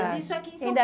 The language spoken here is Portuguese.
Mas isso aqui em São ele